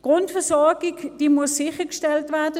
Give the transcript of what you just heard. Die Grundversorgung muss sichergestellt werden.